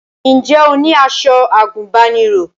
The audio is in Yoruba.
Ǹjẹ́ o ní aṣọ àgùnbánirọ̀?